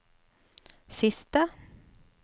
siste